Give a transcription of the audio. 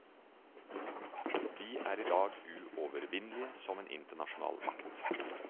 Vi er i dag uovervinnelige som en internasjonal makt.